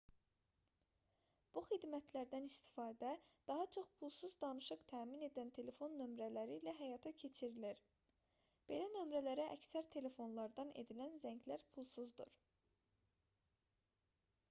bu xidmətlərdən istifadə daha çox pulsuz danışıq təmin edən telefon nömrələri ilə həyata keçirilir belə nömrələrə əksər telefonlardan edilən zənglər pulsuzdur